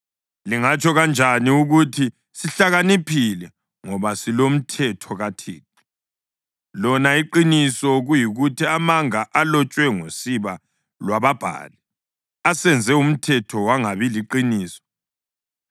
Lingatsho kanjani ukuthi, “Sihlakaniphile, ngoba silomthetho kaThixo,” lona iqiniso kuyikuthi amanga alotshwe ngosiba lwababhali asenze umthetho wangabi liqiniso?